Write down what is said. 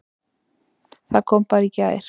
Það kom bara í gær!